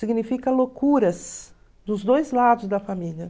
Significa loucuras dos dois lados da família.